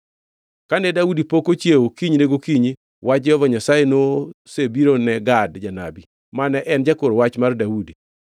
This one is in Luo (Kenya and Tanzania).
Kane Daudi pok ochiewo kinyne gokinyi, wach Jehova Nyasaye nosebiro ne Gad janabi, mane en jakor wach mar Daudi: